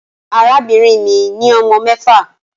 Arabinrin mi ni ọmọ mẹfa